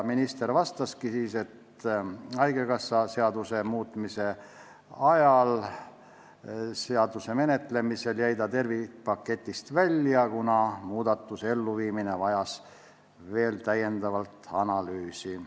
Minister vastaski, et haigekassa seaduse menetlemisel jäi see tervikpaketist välja, kuna muudatuse elluviimine vajas täiendavat analüüsi.